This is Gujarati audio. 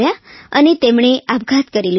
અને તેમણે આપઘાત કરી લીધો